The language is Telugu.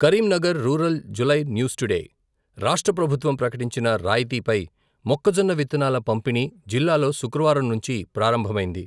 Karimnagar rural July news today, రాష్ట్ర ప్రభుత్వం ప్రకటించిన రాయితీపై, మొక్కజొన్న విత్తనాల పంపిణీ, జిల్లాలో శుక్రవారం నుంచి ప్రారంభమైంది.